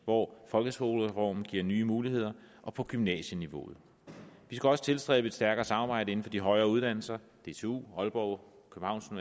hvor folkeskolereformen giver nye muligheder og på gymnasieniveauet vi skal også tilstræbe et stærkere samarbejde inden for de højere uddannelser dtu aalborg